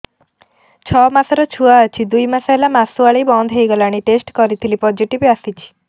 ଛଅ ମାସର ଛୁଆ ଅଛି ଦୁଇ ମାସ ହେଲା ମାସୁଆରି ବନ୍ଦ ହେଇଗଲାଣି ଟେଷ୍ଟ କରିଥିଲି ପୋଜିଟିଭ ଆସିଛି